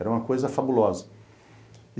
Era uma coisa fabulosa.